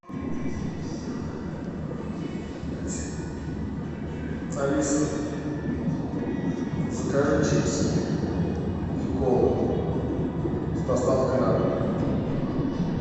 алиса закажи чипсы и колу с доставкой на дом